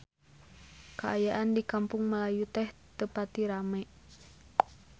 Kaayaan di Kampung Melayu teu pati rame